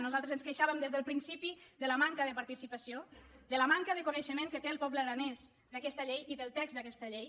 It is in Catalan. nosaltres ens queixàvem des del principi de la manca de participa·ció de la manca de coneixement que té el poble ara·nès d’aquesta llei i del text d’aquesta llei